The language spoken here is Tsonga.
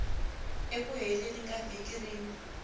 eku heleni ka vhiki rin